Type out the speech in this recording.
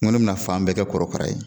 N ko n bɛna fan bɛɛ kɛ kɔrɔkara ye